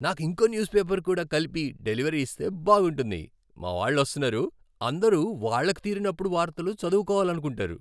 నాకు ఇంకో newspaper కూడా కలిపి డెలివరీ ఇస్తే బాగుంటుంది! మా వాళ్ళు వస్తున్నారు, అందరూ వాళ్ళకు తీరినప్పుడు వార్తలు చదవుకోవాలనుకుంటారు.